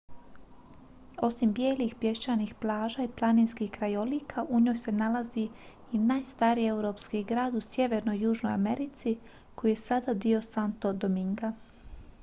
osim bijelih pješčanih plaža i planinskih krajolika u njoj se nalazi i najstariji europski grad u sjevernoj i južnoj americi koji je sada dio santo dominga